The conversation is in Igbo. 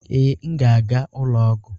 Ee, m ga-aga ụlọ ọgwụ